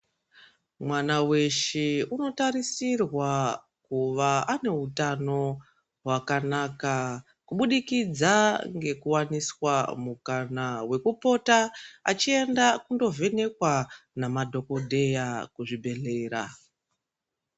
Mwana weshe unotarisirwa kuva ane utano wakanaka kubudikidza ngekuwaniswa mukana wekupota achiyenda kundovhenekwa namadhokodheya kuzvibhedhlera.